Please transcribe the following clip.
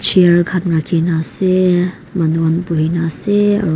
chair khan rakhina ase manu khan buina ase aro.